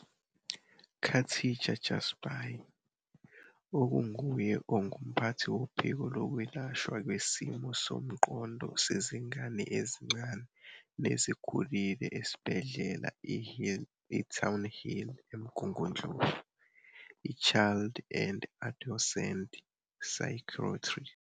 Khatija Jhazbhay, okunguye ongumphathi Wophiko Lwezokulashwa Kwesimo Somqondo Sezingane Ezincane Nezikhulile esibhedlela i-Townhill eMgungundlovu, i-Child and Adolescent Psychiatry.